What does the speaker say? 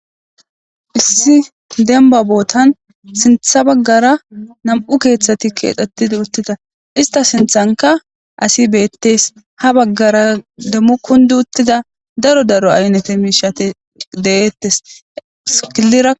Issi demba botan sinta bagara nam'u kethati kexetida utida issita sintanka asi betes ha bagara demo kundiutida daro daro aynate mishati de'etes kilira.